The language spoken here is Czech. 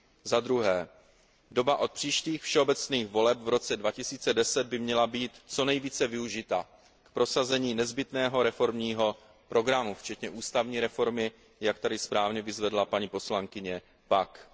Za druhé doba od příštích všeobecných voleb v roce 2010 by měla být co nejvíce využita k prosazení nezbytného reformního programu včetně ústavní reformy, jak tady správně vyzvedla paní poslankyně Packová.